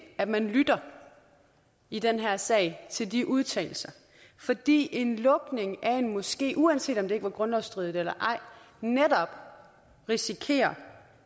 at man i den her sag til disse udtalelser fordi en lukning af en moské uanset om det ikke er grundlovsstridigt netop risikerer